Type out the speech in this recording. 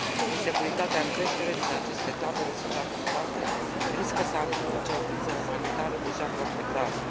Insecuritatea în creștere din aceste tabere suprapopulate riscă să amplifice o criză umanitară deja foarte gravă.